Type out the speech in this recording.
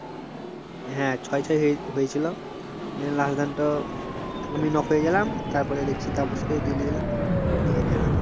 হ্যাঁ ছয় ছয় হয়েছিল নিয়ে last দানটো আমি knock হয়ে গেলাম দিয়ে দেখছি তাপস কেউ নিয়ে হেরে গেলাম